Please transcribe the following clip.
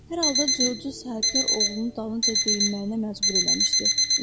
Hər halda Corc sahibkar oğlunu dalınca deyinməyinə məcbur eləmişdi.